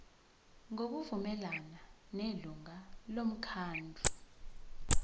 ngokuvumelana nelungu lomkhandlu